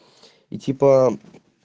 и типа